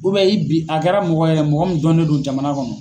i bi a kɛra mɔgɔ ye mɔgɔ min dɔnen don jamana kɔnɔ